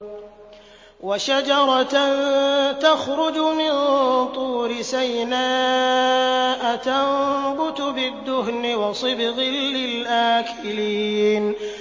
وَشَجَرَةً تَخْرُجُ مِن طُورِ سَيْنَاءَ تَنبُتُ بِالدُّهْنِ وَصِبْغٍ لِّلْآكِلِينَ